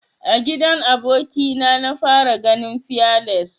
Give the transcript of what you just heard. A gidan aboki na na fara ganin fearless.